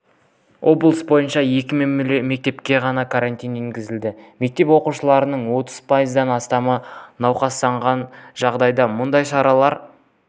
облыс бойынша екі мектепке ғана карантин енгізілді мектеп оқушыларының отыз пайыздан астамы науқастанған жағдайда мұндай шаралар